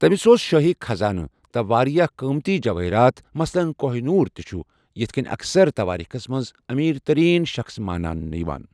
تٔمِس اوس شٲہی خزانہٕ، تہٕ واریاہ قۭمتی جوٲہِرات مثلن كوہ نوٗر تہٕ چھ یتھ كٔنۍ اکثر توٲریٖخس منٛز امیر ترٛین شخٕص مانٛنہٕ یِوان۔